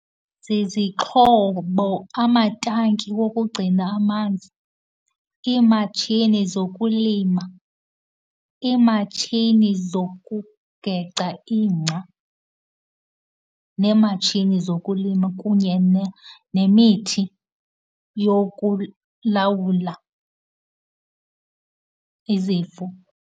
Zizixhobo, amatanki wokugcina amanzi, iimatshini zokulima, iimatshini zokugeca ingca neematshini zokulima, kunye nemithi yokulawula izifo.